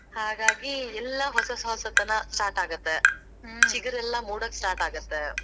ಹಾಗಾಗಿ, ಎಲ್ಲಾ ಹೊಸ ಹೊಸತನ start ಆಗತ್ತೆ. ಮೂಡೋಕ್ start ಆಗತ್ತೆ.